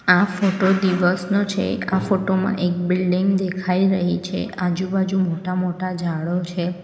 આ ફોટો દિવસનો છે આ ફોટો માં એક બિલ્ડીંગ દેખાઈ રહી છે આજુબાજુ મોટા- મોટા ઝાડો છે.